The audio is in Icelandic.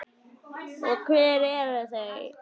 Og hver eru þau?